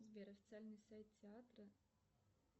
сбер официальный сайт театра